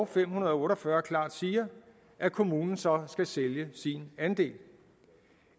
fem hundrede og otte og fyrre klart siger at kommunen så skal sælge sin andel